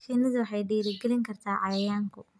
Shinnidu waxay dhiirigelin kartaa cayayaanku.